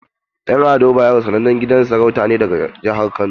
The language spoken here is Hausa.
En Ado bayero sanannen gidan sarauta ne daga jihar kano.